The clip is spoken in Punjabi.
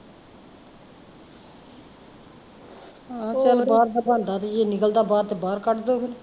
ਚੱਲ ਬਾਹਰ ਦਾ ਬਣਦਾ ਤੇ ਜੇ ਨਿਕਲਦਾ ਬਾਹਰ ਤਾਂ ਬਾਹਰ ਕੱਢਦੋ ਫੇਰ